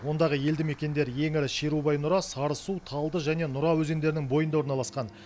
ондағы елді мекендер ең ірі шерубай нұра сарысу талды және нұра өзендерінің бойында орналасқан